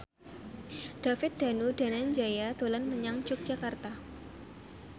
David Danu Danangjaya dolan menyang Yogyakarta